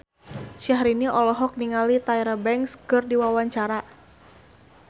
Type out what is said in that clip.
Syahrini olohok ningali Tyra Banks keur diwawancara